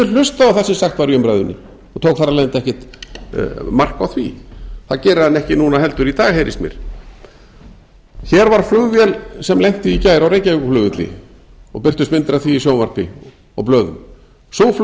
hlustað á það sem sagt var í umræðunni og tók þar af leiðandi ekkert mark á því það gerir hann ekki núna heldur í dag heyrist mér hér var flugvél sem lenti í gær á reykjavíkurflugvelli og birtust myndir af því í sjónvarpi og blöðum sú